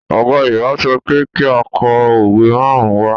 Ọ̀gá Yorùbá sọ pé kí á kọ òwe márùn-ún wá